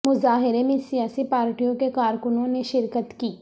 مظاہرے میں سیاسی پارٹیوں کے کارکنوں نے شرکت کی